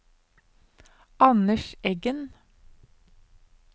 Anders Eggen